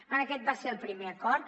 per tant aquest va ser el primer acord